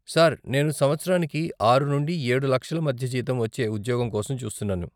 Sir, నేను సంవత్సరానికి ఆరు నుండి ఏడు లక్షల మధ్య జీతం వచ్చే ఉద్యోగం కోసం చూస్తున్నాను.